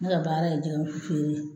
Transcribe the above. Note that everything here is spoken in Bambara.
Ne ka baara ye jɛgɛwusu fere ye